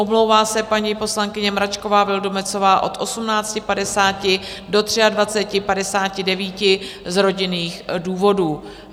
Omlouvá se paní poslankyně Mračková Vildumetzová od 18.50 do 23.59 z rodinných důvodů.